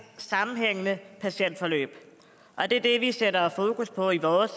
sammenhængende patientforløb og det er det vi sætter fokus på i vores